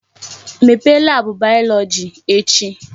Mepee laabụ bayọlọji echi!